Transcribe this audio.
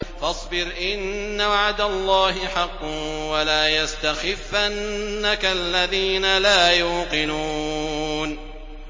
فَاصْبِرْ إِنَّ وَعْدَ اللَّهِ حَقٌّ ۖ وَلَا يَسْتَخِفَّنَّكَ الَّذِينَ لَا يُوقِنُونَ